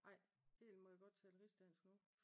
Ej Hellen må jeg godt tale rigsdansk nu?